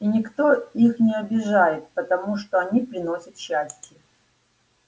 и никто их не обижает потому что они приносят счастье